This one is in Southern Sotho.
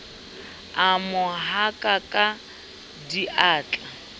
a mo haka ka diatla